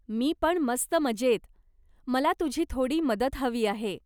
मी पण मस्त मजेत. मला तुझी थोडी मदत हवी आहे.